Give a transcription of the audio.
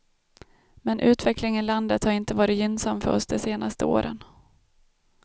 Men utvecklingen i landet har inte varit gynnsam för oss de senaste åren.